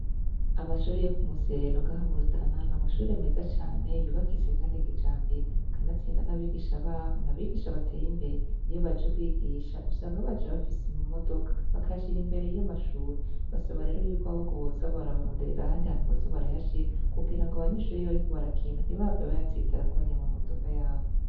Amashure yo ku museno ngaha mu Rutana n'amashure meza cane yubakitse Kandi kijambere kanatsinda n'abigisha babo n'abigisha bateye imbere iyo baje kwigisha usanga baje bafise imodoka , bakayashira imbere y'amashure , basaba rero yuko ahubwo boza barabaronderera ahandi hantu boza barayashira kugira abanyeshure iyo bariko barakina ntibahave bayatsitarako nya ma modoka yabo.